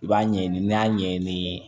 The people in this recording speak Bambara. I b'a ɲɛɲini n'i y'a ɲɛɲini